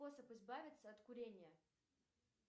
способ избавиться от курения